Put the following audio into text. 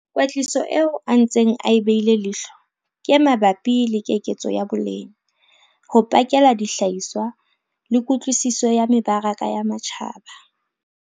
Kwetliso eo a ntseng a e beile lehlo ke e mabapi le keketso ya boleng, ho pakela dihlahisa le kutlwisiso ya mebaraka ya matjhaba.